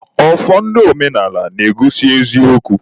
Ọfọ ndị omenaala na-egosi eziokwu.